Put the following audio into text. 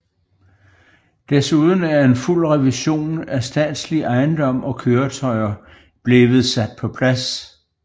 Desuden er en fuld revision af statslig ejendom og køretøjer bliver sat på plads